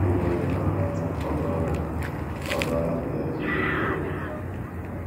Ịgwa onye ị hụrụ n’anya ka ọ gawara ka ọ gawara nke ya siri ike omume.